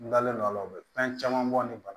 N dalen don a la u bɛ fɛn caman bɔ ni bana